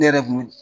Ne yɛrɛ kun